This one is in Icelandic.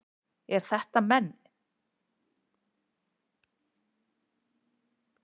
Eru þetta menn?